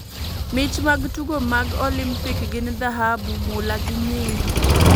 mich mag tugo mag Olimpik gin dhahabu ,mula gi nyiyo